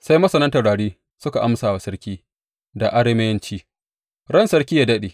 Sai masanan taurarin suka amsa wa sarki da Arameyanci Ran sarki yă daɗe!